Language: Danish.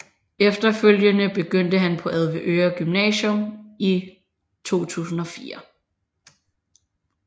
Efterfølgende begyndte han på Avedøre Gymnasium i 2004